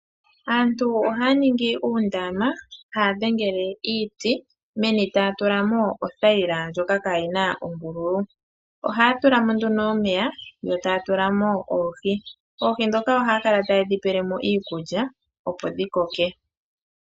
Aantu ohaya ningi undama haya dhengele iiti, meni taya tulamo othayila ndjoka kaayina oombululu. Ohaya tulamo nduno omeya yo taya tulamo oohi. Oohi ndhoka oha ya kala ta yedhi pelemo iikulya, opo dhi koke.